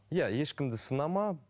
иә ешкімді сынама